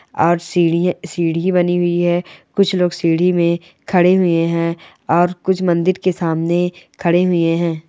और सीढ़ी बनी हुई है कुछ लोग सीढ़ी में खड़े हुए है और कुछ मंदिर के सामने खड़े हुए है।